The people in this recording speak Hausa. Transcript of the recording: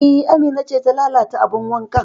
E, Amina ce ta lalata abin wankan